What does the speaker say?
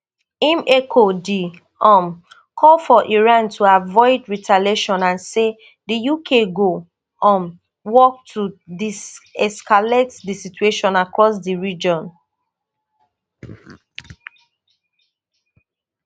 im echo di um call for iran to avoid retaliation and say di uk go um work to deescalate di situation across di region